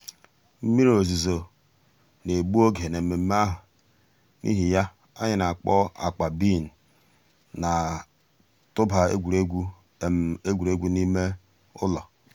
mmírí òzùzọ̀ nà-ègbù ògè n'èmẹ̀mmẹ̀ àhụ̀ n'ìhì yà ànyị̀ nà-àkpọ̀ àkpà bean nà-̀tụ̀bà ègwè́ré́gwụ̀ ègwè́ré́gwụ̀ n'ìmè um ǔlọ̀.